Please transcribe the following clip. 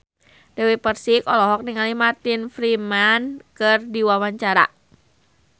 Dewi Persik olohok ningali Martin Freeman keur diwawancara